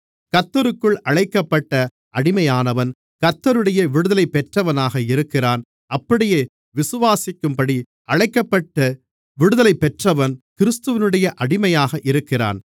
கர்த்தருக்குள் அழைக்கப்பட்ட அடிமையானவன் கர்த்தருடைய விடுதலைபெற்றவனாக இருக்கிறான் அப்படியே விசுவாசிக்கும்படி அழைக்கப்பட்ட விடுதலைபெற்றவன் கிறிஸ்துவினுடைய அடிமையாக இருக்கிறான்